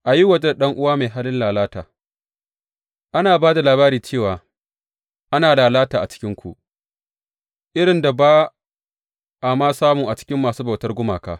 A yi waje da ɗan’uwa mai halin lalata Ana ba da labari cewa ana lalata a cikinku, irin da ba a ma samu a cikin masu bautar gumaka.